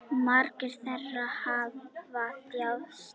Margir þeirra hafa þjáðst.